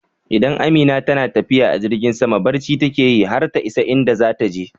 Idan Amina tana tafiya a jirgin sama barci take yi har ta isa inda zata je